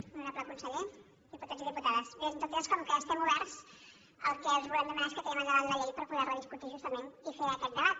honorable con·seller diputats i diputades bé en tot cas com que hi estem oberts el que els volem demanar és que tirem endavant la llei per poder·la discutir justament i fer aquest debat